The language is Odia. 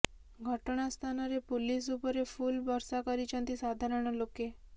ଘଟଣା ସ୍ଥାନରେ ପୁଲିସ୍ ଉପରେ ଫୁଲ୍ ବର୍ଷା କରିଛନ୍ତି ସାଧାରଣ ଲୋକେ